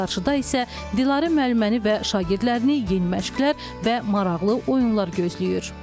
Qarşıda isə Dilarə müəlliməni və şagirdlərini yeni məşqlər və maraqlı oyunlar gözləyir.